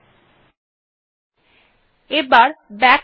ঠিকআছে আমি এখন অ্যাড্রেস bar এ এসে গেছি